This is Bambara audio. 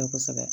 Kosɛbɛ